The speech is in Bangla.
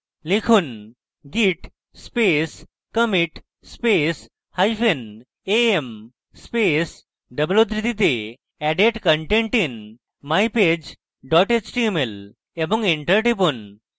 লিখুন: git space commit space hyphen a m space double উদ্ধৃতিতে added content in mypage html এবং enter টিপুন